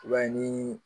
I b'a ye ni